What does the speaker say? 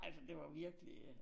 Altså det var virkelig øh